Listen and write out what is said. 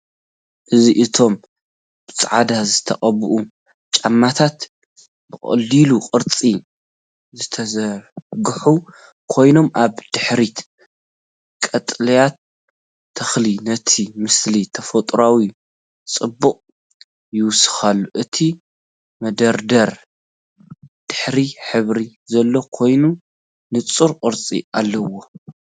እዚ እቶም ብጻዕዳ ዝተቐብኡ ጫማታት ብቐሊል ቅርጺ ዝተዘርግሑ ኮይኖም፡ ኣብ ድሕሪት ቀጠልያ ተኽሊ ነቲ ምስሊ ተፈጥሮኣዊ ጽባቐ ይውስኸሉ። እቲ መደርደሪ ጻዕዳ ሕብሪ ዘለዎ ኮይኑ ንጹር ቅርጺ ኣለዎ።